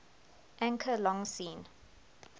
anchor long seen